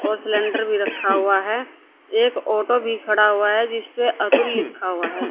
और सिलेंडर भी रखा हुआ हैं एक ऑटो भी खड़ा हुआ है जिसपे अतुल लिखा हुआ है।